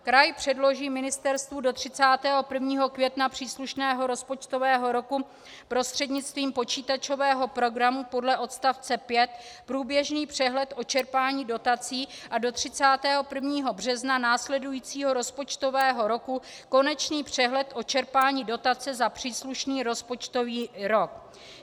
Kraj předloží ministerstvu do 31. května příslušného rozpočtového roku prostřednictvím počítačového programu podle odstavce 5 průběžný přehled o čerpání dotací a do 31. března následujícího rozpočtového roku konečný přehled o čerpání dotace za příslušný rozpočtový rok.